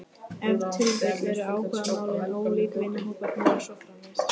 Ef til vill eru áhugamálin ólík, vinahópurinn og svo framvegis.